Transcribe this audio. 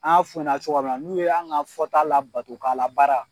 An f'u ye cogoya min na n'u y'an ka fɔta labato k'a labaara.